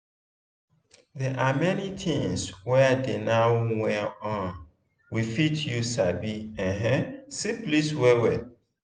they are many things were dey now were um we fit use sabi um syphilis well well